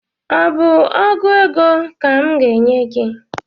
Ọ bụ ọgụ ego ka m ga-enye ya?